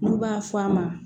N'u b'a f'a ma